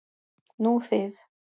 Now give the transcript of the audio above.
Nú þið.